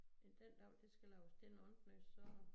Men dengang det skal laves til noget andet noget så